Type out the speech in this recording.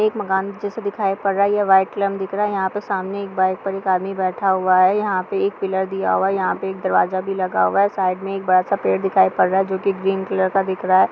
यह एक मकान दिखाई पड़ रहा है वाइट कलर में देखिये सामने एक आदमी बैठा हुआ है। यहाँ बाइक पिलर दिया हुआ है और दरवाज़ा भी दिया हुआ है। साइड में एक बड़ा-सा है जो की ग्रीन कलर का दिख रहा है।